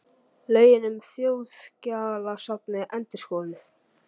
Lögin um Þjóðskjalasafnið endurskoðuð